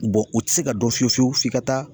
u tɛ se ka dɔn fiye fiyewu f'i ka taa